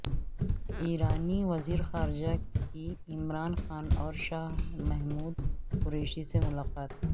ایرانی وزیر خارجہ کی عمران خان اور شاہ محمود قریشی سے ملاقات